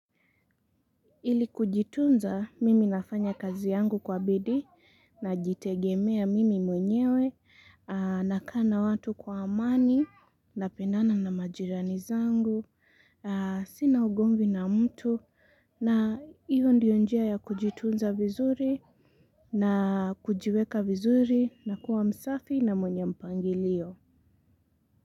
Ili kujitunza mimi nafanya kazi yangu kwa bidii najitegemea mimi mwenyewe na kama watu kwa amani napendana na majirani zangu, sina ugomvi na mtu na hiyo ndiyo njia ya kujitunza vizuri na kujiweka vizuri na kuwa msafi na mwenye mpangilio.